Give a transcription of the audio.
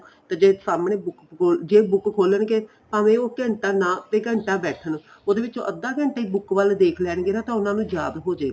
ਤੇ ਜੇ ਸਾਹਮਣੇ ਜੇ book ਖੋਲਣਗੇ ਭਾਵੇ ਉਹ ਘੰਟਾ ਨਾ ਤੇ ਘੰਟਾ ਬੈਠਣ ਉਹਦੇ ਵਿੱਚੋ ਅੱਧਾ ਘੰਟਾ ਈ book ਵੱਲ ਦੇਖ ਲੈਣਗੇ ਨਾ ਤਾਂ ਉਹਨਾ ਨੂੰ ਯਾਦ ਹੋਜੇਗਾ